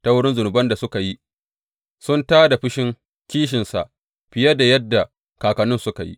Ta wurin zunuban da suka yi, sun tā da fushin kishinsa fiye da yadda kakanninsu suka yi.